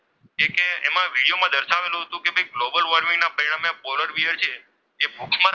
તેમાં બતાવેલું હતું કે ગ્લોબલ વોર્મિંગના પરિણામે આજે પોલર બિયર છે તે ભૂખ મર,